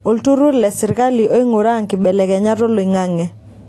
Olturrur le serkali oinguraa nkibelekenyat olion'ang'e.